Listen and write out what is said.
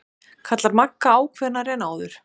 kallar Magga ákveðnari en áður.